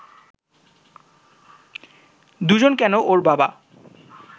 দুজন কেন, ওর বাবা